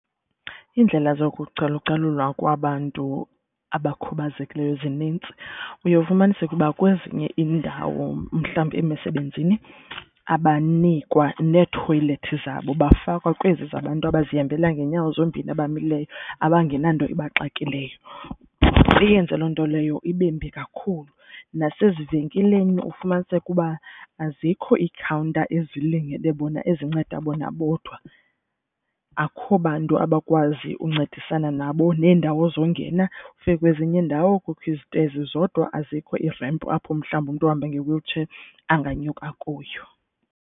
Indlela zokucalucalulwa kwabantu abakhubazekileyo zinintsi. Uye ufumaniseke uba kwezinye iindawo mhlawumbi emisebenzini abanikwa neethoyilethi zabo bafakwa kwezi zabantu abazihambela ngeenyawo zombini abamileyo abangenanto iba exakekileyo, iyenze loo nto leyo ibembi kakhulu nasezivenkileni ufumaniseke uba azikho ikhawunta ezilingene bona ezinceda bona bodwa, akukho bantu abakwazi uncedisana nabo. Neendawo zongena ufike kwezinye iindawo kukho izinto ezi zodwa azikho i-ramp apho mhlawumbi umntu ahambe nge-wheelchair angenyuka kuyo